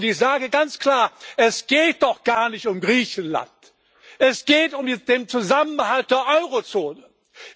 Ich sage ganz klar Es geht doch gar nicht um Griechenland, es geht um den Zusammenhalt des Euro Raums!